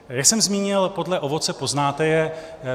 Jak jsem zmínil, podle ovoce poznáte je.